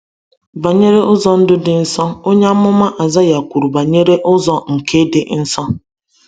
Banyere ụzọ ndụ dị nsọ, onye amụma Aịzaya kwuru banyere “Ụzọ nke Ịdị Nsọ.”